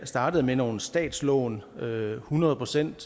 startede med nogle statslån hundrede hundrede procent